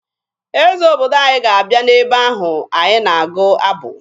Eze obodo anyị ga-abịa n'ebe ahụ anyị na-agụ abụ